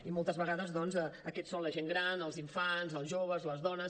i moltes vegades doncs aquests són la gent gran els infants els joves les dones